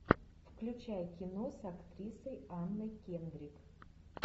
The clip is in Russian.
включай кино с актрисой анной кендрик